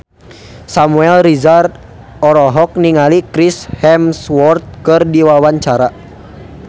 Samuel Rizal olohok ningali Chris Hemsworth keur diwawancara